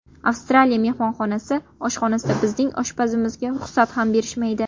Avstraliya mehmonxonasi oshxonasida bizning oshpazimizga ruxsat ham berishmaydi.